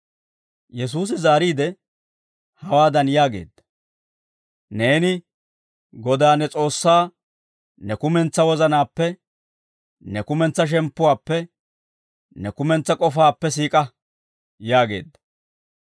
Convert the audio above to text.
Yesuusi zaariide, hawaadan yaageedda; « ‹Neeni Godaa ne S'oossaa ne kumentsaa wozanaappe, ne kumentsaa shemppuwaappe, ne kumentsaa k'ofaappe siik'a› yaageedda.